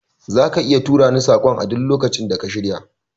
Zaka iya turani saƙon a duk lokacin da ka shirya